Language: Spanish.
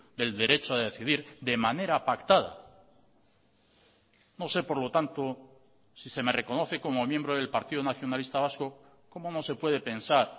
del derecho a decidir de manera pactada no sé por lo tanto si se me reconoce como miembro del partido nacionalista vasco cómo no se puede pensar